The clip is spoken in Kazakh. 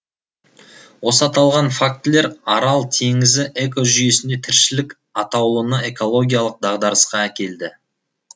осы аталған фактілер арал теңізі экожүйесіндегі тіршілік атаулыны экологиялық дағдарысқа әкелді